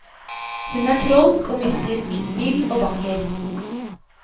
Hun er trolsk og mystisk, vill og vakker.